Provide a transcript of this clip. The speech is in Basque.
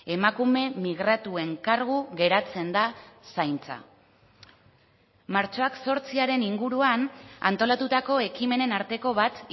emakume migratuen kargu geratzen da zaintza martxoak zortziaren inguruan antolatutako ekimenen arteko bat